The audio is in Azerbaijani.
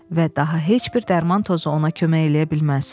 Və daha heç bir dərman tozu ona kömək eləyə bilməz.